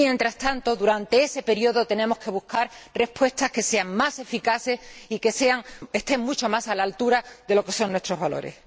Mientras tanto, durante ese período, tenemos que buscar respuestas que sean más eficaces y que estén mucho más a la altura de lo que son nuestros valores.